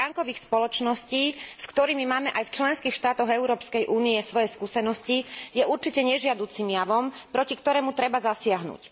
schránkových spoločností, s ktorými máme aj v členských štátoch Európskej únie svoje skúsenosti, je určite nežiaducim javom, proti ktorému treba zasiahnuť.